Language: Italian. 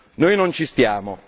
Noi non ci stiamo!